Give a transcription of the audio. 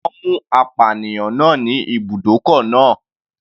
Wọ́n mú apànìyàn náà ní ibùdókọ̀ náà.